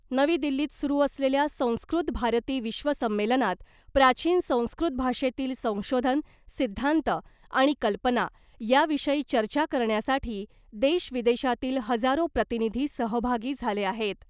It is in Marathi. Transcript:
नवी दिल्लीत सुरू असलेल्या संस्कृत भारती विश्व संमेलनात प्राचीन संस्कृत भाषेतील संशोधन सिद्धांत आणि कल्पना याविषयी चर्चा करण्यासाठी देश विदेशातील हजारो प्रतिनिधी सहभागी झाले आहेत .